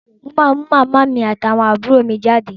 Mo máa mú màmá mi àti àwọn àbúrò mi jáde.